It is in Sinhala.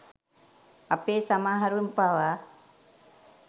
අපේ සමහරුන් පවා